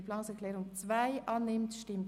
Sie betreffen die Massnahme 47.5.3.